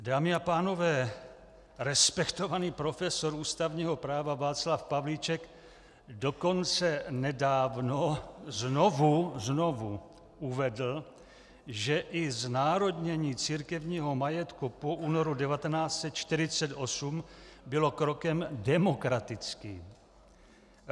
Dámy a pánové, respektovaný profesor ústavního práva Václav Pavlíček dokonce nedávno znovu, znovu uvedl, že i znárodnění církevního majetku po únoru 1948 bylo krokem demokratickým.